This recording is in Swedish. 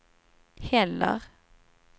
heller